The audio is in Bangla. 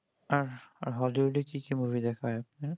আর আর hollywood এর কি কি movie দেখা হয়েছে